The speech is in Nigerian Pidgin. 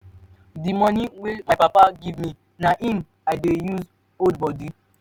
the money wey my papa give me na im i dey use hood body.